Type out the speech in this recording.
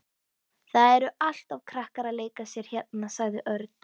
Það eru alltaf krakkar að leika sér hérna sagði Örn.